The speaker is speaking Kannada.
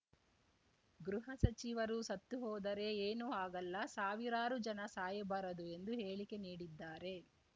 ಗೃಹ ಸಚಿವರು ಸತ್ತು ಹೋದರೆ ಏನು ಆಗಲ್ಲ ಸಾವಿರಾರು ಜನ ಸಾಯಬಾರದು ಎಂದು ಹೇಳಿಕೆ ನೀಡಿದ್ದಾರೆ